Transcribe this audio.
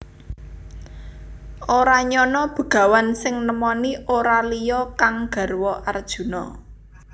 Ora nyana Begawan sing nemoni ora liya kang garwa Arjuna